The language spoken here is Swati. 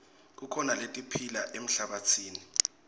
kukhona letiphila emhlabatsini